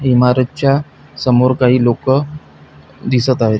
इमारतच्या समोर काही लोक दिसत आहेत.